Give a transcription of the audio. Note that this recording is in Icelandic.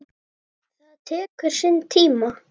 Það tekur sinn tíma.